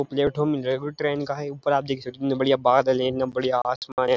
एक platform train का है ऊपर आप देख सकते हैं कितने बढ़िया बादल हैं कितना बढ़िया आसमान है।